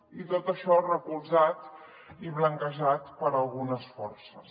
i tot això recolzat i blanquejat per algunes forces